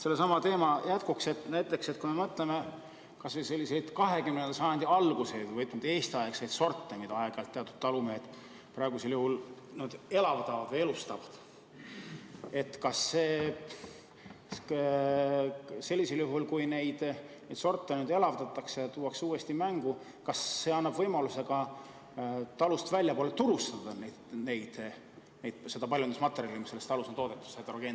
Sellesama teema jätkuks, kui me mõtleme näiteks kas või selliseid 20. sajandi alguse või, ütleme, Eesti-aegseid sorte, mida talumehed praegusel juhul aeg-ajalt elavdavad või elustavad, siis kas sellisel juhul, kui neid sorte nüüd elavdatakse ja uuesti mängu tuuakse, annab see võimaluse seda talus toodetud heterogeenset paljundusmaterjali ka talust väljapoole turustada?